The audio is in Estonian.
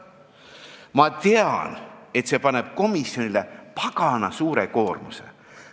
Ma tean, et see paneb komisjonile pagana suure koormuse.